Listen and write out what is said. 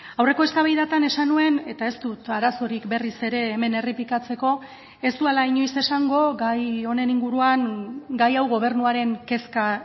aurreko eztabaidatan esan nuen eta ez dut arazorik berriz ere hemen errepikatzeko ez dudala inoiz esango gai honen inguruan gai hau gobernuaren kezka